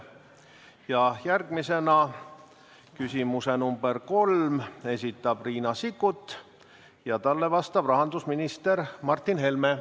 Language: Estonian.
Ja järgmisena küsimus number 3: esitab Riina Sikkut ja talle vastab rahandusminister Martin Helme.